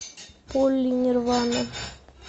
полли нирвана